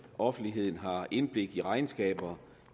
offentligheden har indblik i regnskaber